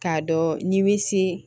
K'a dɔn n'i bɛ se